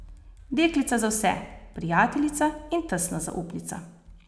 Deklica za vse, prijateljica in tesna zaupnica.